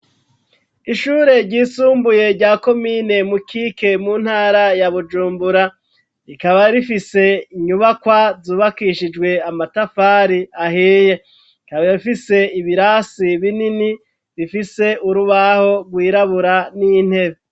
Ishure ryisumbuye rya komine mu kike mu ntara ya bujumbura, rikaba rifise inyubakwa zubakishijwe amatafari ahiye ,rikaba rifise ibirasi binini, bifise urubaho rwirabura n'intebe.